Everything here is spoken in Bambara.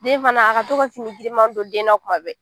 Den fana a ka to ka fini girinman don den na tuma bɛɛ